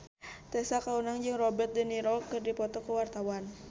Tessa Kaunang jeung Robert de Niro keur dipoto ku wartawan